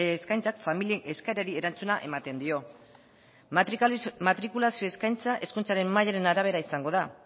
eskaintzak familia eskaerari erantzuna ematen dio matrikulazio eskaintza hezkuntza mailaren arabera izango da